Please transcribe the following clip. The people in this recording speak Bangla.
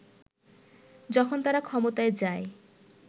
যখন তারা ক্ষমতায় যায়